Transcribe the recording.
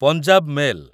Punjab mail